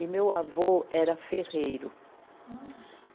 E meu avô era ferreiro. Hum.